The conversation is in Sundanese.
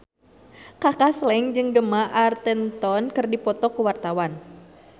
Kaka Slank jeung Gemma Arterton keur dipoto ku wartawan